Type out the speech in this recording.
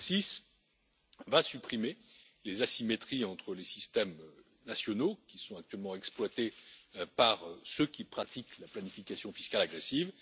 L'ACCIS va supprimer les asymétries entre les systèmes nationaux, qui sont actuellement exploitées par ceux qui pratiquent la planification fiscale agressive.